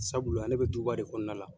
Sabula ne bɛ duba de kɔnɔna la